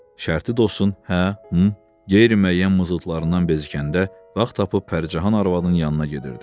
Şərti dostun "hə", "hüm" qeyri-müəyyən mızıltılarından bezikəndə vaxt tapıb Pərcahan arvadın yanına gedirdi.